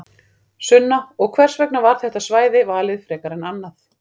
Sunna: Og hvers vegna var þetta svæði valið frekar en annað?